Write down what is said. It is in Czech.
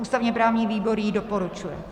Ústavně-právní výbor ji doporučuje.